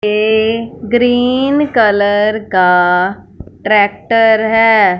ये green colour का tractor है।